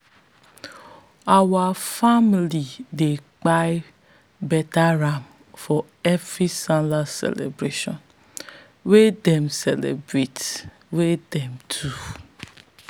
our family dey kpai beta ram for every sallah celebration wey them celebration wey them do.